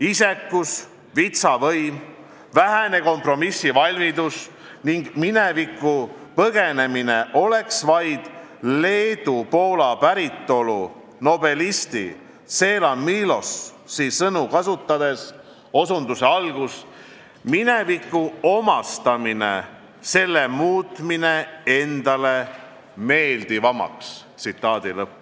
Isekus, vitsa võim, vähene kompromissivalmidus ning minevikku põgenemine oleks aga vaid, kui leedu-poola päritolu nobelisti Czeslaw Miloszi sõnu kasutada, "mineviku omastamine, selle muutmine endale meeldivamaks".